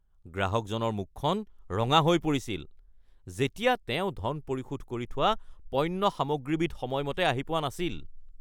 গ্ৰাহকজনৰ মুখখন ৰঙা হৈ পৰিছিল যেতিয়া তেওঁ ধন পৰিশোধ কৰি থোৱা পণ্য সামগ্ৰীবিধ সময়মতে আহি পোৱা নাছিল।